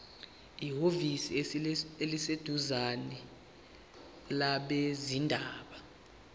ehhovisi eliseduzane labezindaba